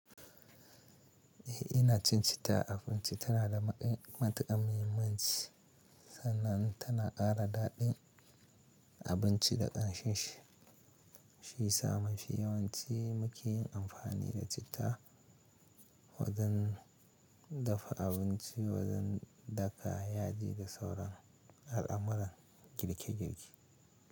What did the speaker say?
Eh, ina cin cita, a abinci tana da matuƙan muhimmanci, sannan tana ƙara daɗin abinci da ƙanshin shi. Shi ya sa munfi yawanci muke yin amfani da cita wajen dafa abinci, wajen daka yaji, da sauran al'amuran girke-girke.